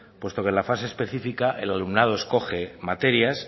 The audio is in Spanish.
puesto que en la fase específica el alumnado escoge materias